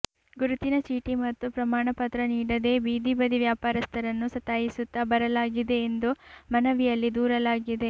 ಗುರುತಿನ ಚೀಟಿ ಮತ್ತು ಪ್ರಮಾಣ ಪತ್ರ ನೀಡದೇ ಬೀದಿಬದಿ ವ್ಯಾಪಾರಸ್ಥರನ್ನು ಸತಾಯಿಸುತ್ತ ಬರಲಾಗಿದೆ ಎಂದು ಮನವಿಯಲ್ಲಿ ದೂರಲಾಗಿದೆ